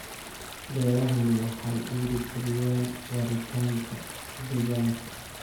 Beerahani waxa ay dhiiri galiyaan waaritaanka deegaanka.